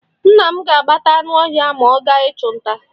Nna m ga-agbata anụ ọhịa ma ọ gaa ịchụ nta.